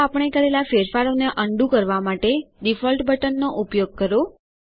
અથવા આપણે કરેલા ફેરફારોને અન્ડું કરવા ડિફોલ્ટ બટન નો ઉપયોગ કરો